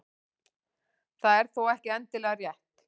Það er þó ekki endilega rétt.